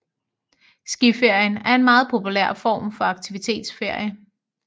Skiferien er en meget populær form for aktivitetsferie